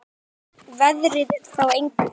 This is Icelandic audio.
Skipti veðrið þá engu.